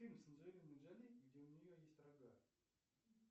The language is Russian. фильм с анджелиной джоли где у нее есть рога